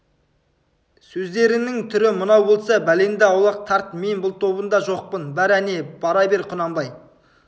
сөздеріңнің түрі мынау болса бәлеңді аулақ тарт мен бұл тобында жоқпын бар әне бара бер құнанбай